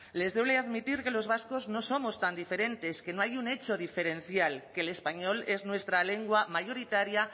les duele admitir que los vascos no somos tan diferentes que no hay un hecho diferencial que el español es nuestra lengua mayoritaria